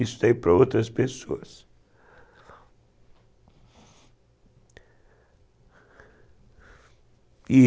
isso daí para outras pessoas.